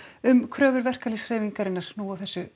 um kröfur verkalýðshreyfingarinnar nú á þessu